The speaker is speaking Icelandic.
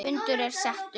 Fundur er settur!